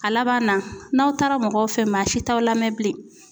A laban na n'aw taara mɔgɔw fɛ, maa si t'aw lamɛn bilen.